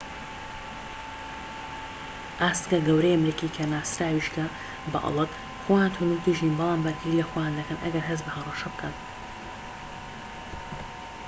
ئاسکە گەورەی ئەمریکی کە ناسراویشکە بە ئەڵك خۆیان توندوتیژ نین، بەڵام بەرگری لە خۆیان دەکەن ئەگەر هەست بە هەڕەشە بکەن